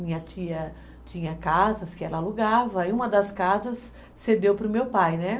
Minha tia tinha casas que ela alugava e uma das casas cedeu para o meu pai, né?